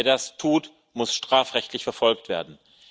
Wer das tut, muss strafrechtlich verfolgt werden.